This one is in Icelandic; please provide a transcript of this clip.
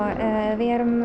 við erum